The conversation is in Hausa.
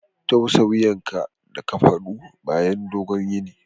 Tausa wuyanka da kafadu bayan dogon yini.